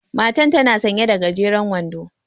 Matan tana sanƴe da gajeren wando.